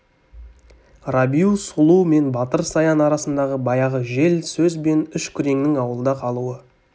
рабиу сұлу мен батыр саян арасындағы баяғы жел сөз бен үш күреңнің ауылда қалуы